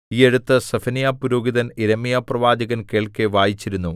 ഈ എഴുത്ത് സെഫന്യാപുരോഹിതൻ യിരെമ്യാപ്രവാചകൻ കേൾക്കെ വായിച്ചിരുന്നു